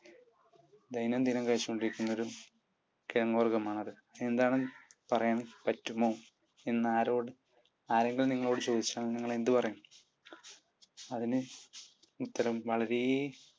ദൈനം ദിനം കഴിച്ചുകൊണ്ടിരിക്കുന്ന ഒരു കിഴങ്ങു വർഗ്ഗമാണത്. എന്താണ് പറയാൻ പറ്റുമോ എന്ന് ആരെങ്കിലും നിങ്ങളോട് ചോദിച്ചാൽ നിങ്ങൾ എന്ത് പറയും? അതിന് ഉത്തരം വളരെ